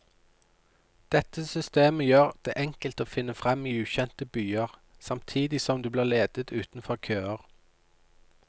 Dette systemet gjør det enkelt å finne frem i ukjente byer, samtidig som du blir ledet utenfor køer.